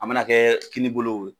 A mana kɛ kini bolo